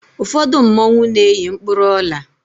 ụfọdụ mmanwu na-eyi mkpụrụ Ọla